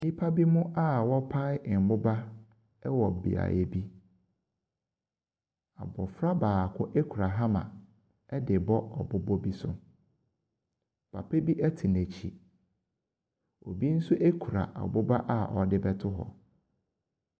Nnipa binom a wɔpae mmoba wɔ beaeɛ bi. Abɔfra baako kura hummer de rebɔ aboba bi so. Papa bi te n'akyi. Obi nso kura aboba a ɔde rebɛto hɔ.